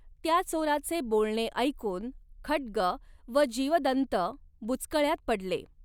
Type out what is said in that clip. त्या चोराचे बोलणे ऐकून खड्ग व जीवदन्त बुचकळयात पडले.